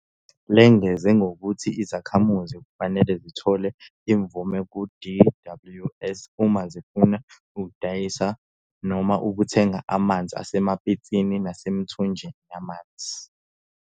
Lengeze ngokuthi izakhamuzi kufanele zithole imvume ku-DWS uma zifuna ukudayisa noma ukuthenga amanzi asemapitsini, nasemithonjeni yamanzi.